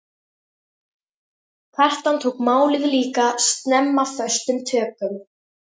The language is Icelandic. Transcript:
Kjartan tók málið líka snemma föstum tökum.